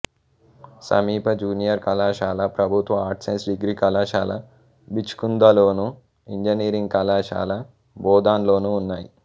సమీప జూనియర్ కళాశాల ప్రభుత్వ ఆర్ట్స్ సైన్స్ డిగ్రీ కళాశాల బిచ్కుందలోను ఇంజనీరింగ్ కళాశాల బోధన్లోనూ ఉన్నాయి